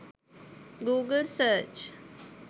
google search